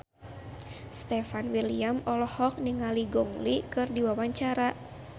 Stefan William olohok ningali Gong Li keur diwawancara